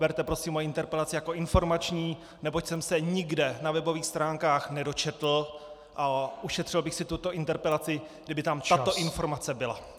Berte prosím moji interpelaci jako informační, neboť jsem se nikde na webových stránkách nedočetl a ušetřil bych si tuto interpelaci, kdyby tam tato informace byla.